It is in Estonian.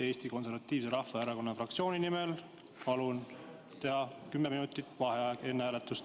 Eesti Konservatiivse Rahvaerakonna fraktsiooni nimel palun teha kümme minutit vaheaega enne hääletust.